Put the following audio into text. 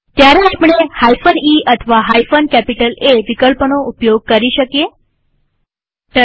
ત્યારે આપણે e અથવા A વિકલ્પોનો ઉપયોગ કરી શકીએ છીએ